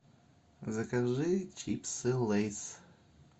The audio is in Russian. закажи чипсы лейс